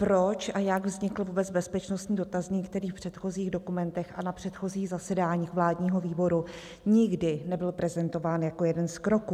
Proč a jak vznikl vůbec bezpečnostní dotazník, který v předchozích dokumentech a na předchozích zasedáních vládního výboru nikdy nebyl prezentován jako jeden z kroků?